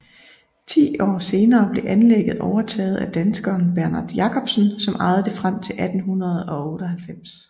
Ti år senere blev anlægget overtaget af danskeren Bernhard Jacobsen som ejede det frem til 1898